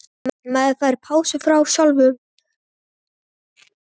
Maður fær pásu frá sjálf um sér.